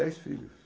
Dez filhos.